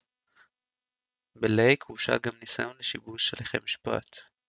בלייק הורשע גם בניסיון לשיבוש הליכי משפט